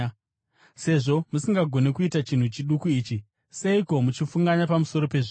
Sezvo musingagoni kuita chinhu chiduku ichi, seiko muchifunganya pamusoro pezvimwe?